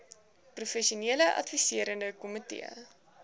professionele adviserende komitee